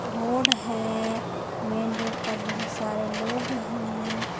Road है main road पर बहुत सारे लोग हैं।